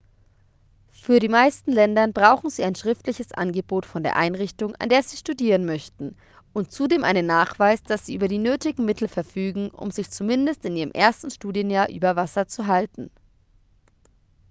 für die meisten ländern brauchen sie ein schriftliches angebot von der einrichtung an der sie studieren möchten und zudem einen nachweis dass sie über die nötigen mittel verfügen um sich zumindest in ihrem ersten studienjahr über wasser zu halten